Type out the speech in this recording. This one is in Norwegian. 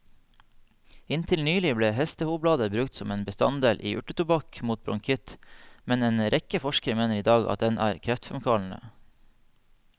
Inntil nylig ble hestehovblader brukt som en bestanddel i urtetobakk mot bronkitt, men en rekke forskere mener i dag at den er kreftfremkallende.